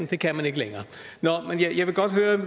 det kan man ikke længere